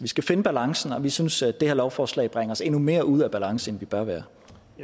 skal finde balancen og vi synes at det her lovforslag bringer os endnu mere ud af balance end vi bør være